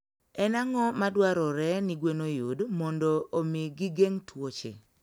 En ang'o madwarore ni gwen oyud mondo omi gigeng' tuoche?